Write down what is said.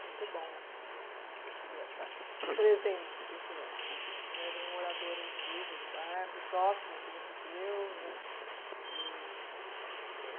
Muito bom assim, receber essa esse presente do senhor, de um morador antigo do bairro e próximo aqui do museu, né. E tem